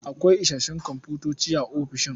Akwai isassun komfutoci a ofishin.